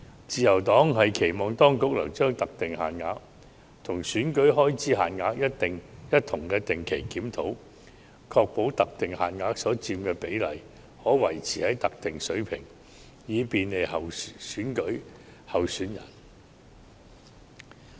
自由黨期望當局能將特定限額與選舉開支限額一同定期檢討，確保特定限額所佔的比例可維持在特定水平，以便利選舉候選人。